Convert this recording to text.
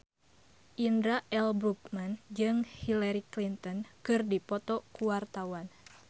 Indra L. Bruggman jeung Hillary Clinton keur dipoto ku wartawan